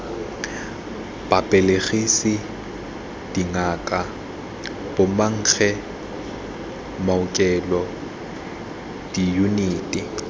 babelegisi dingaka bomankge maokelo diyuniti